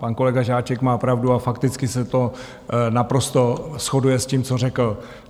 Pan kolega Žáček má pravdu a fakticky se to naprosto shoduje s tím, co řekl.